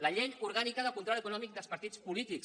la llei orgànica de control econòmic dels partits polítics